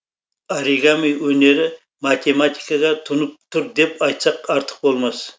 оригами өнері математикаға тұнып тұр деп айтсақ артық болмас